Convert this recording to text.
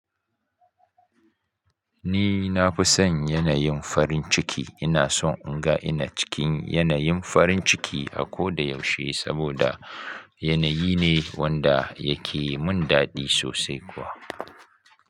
Ni na fi son yanayin farin ciki. Ina son in ga ina cikin yanayin farin ciki a ko da yaushe saboda yanayi ne wanda yake mun daɗi sosai kuwa.